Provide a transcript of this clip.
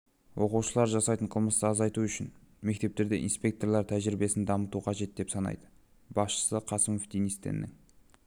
оқушылар жасайтын қылмысты азайту үшін мектептерде инспекторлар тәжірибесін дамыту қажет деп санайды басшысы қасымов денис теннің